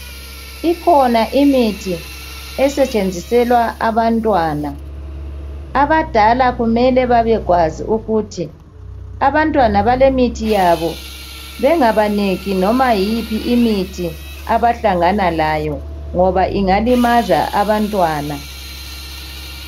Ikhona imithi esetshenziselwa abantwana abadala kumele babekwazi ukuthi abantwana balemithi yabo bengabaniki loba yiphi imithi abahlangana layo ngoba ingalimaza abantwana